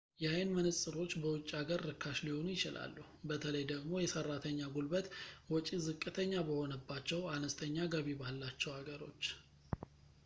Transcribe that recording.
የአይን መነፅሮች በውጭ ሀገር ርካሽ ሊሆኑ ይችላሉ በተለይ ደግሞ የሰራተኛ ጉልበት ወጪ ዝቅተኛ በሆነባቸው አነስተኛ ገቢ ባላቸው ሀገሮች